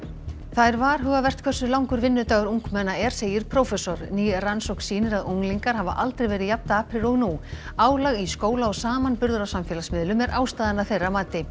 það er varhugavert hversu langur vinnudagur ungmenna er segir prófessor ný rannsókn sýnir að unglingar hafa aldrei verið jafn daprir og nú álag í skóla og samanburður á samfélagsmiðlum er ástæðan að þeirra mati